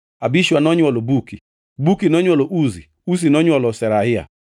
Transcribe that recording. Abishua nonywolo Buki, Buki nonywolo Uzi, Uzi nonywolo Zerahia,